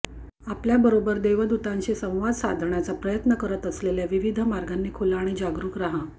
आपल्याबरोबर देवदूतांशी संवाद साधण्याचा प्रयत्न करत असलेल्या विविध मार्गांनी खुला आणि जागरुक रहा